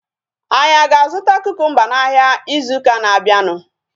Anyị aga azụta kukumba n'ahia ịzụ ụka na-abianu?